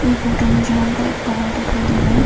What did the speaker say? Photo में जो हमको एक पहाड़ दिखाई दे रहा है।